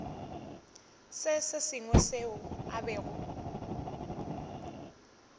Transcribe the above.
se sengwe seo a bego